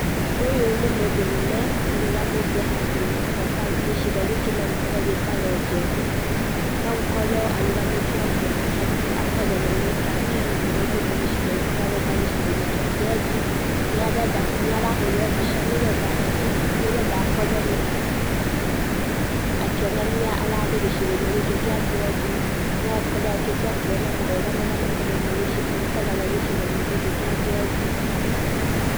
Ũyũ nĩ mũndũrũme, ũrũgamite handũ hetaa gĩcigo gĩkĩ no gĩkorwo gĩtagwo Njeri, no gũkorwo arugamĩte ũguo akorwo nĩ mũtalii ũraumĩte gĩcigo gĩake agoka gĩcigo-inĩ kĩa Njeri, nĩ arenda nĩ ara hurwo mbica nĩgetha atleast nĩgetha akorwo na, akĩonania ararĩ gĩcigo-inĩ gĩkĩ kĩa njeri, nogukorwo arokĩte kuona mwega marĩa makoragwo gĩcigo-inĩ gĩkĩ kĩa njeri.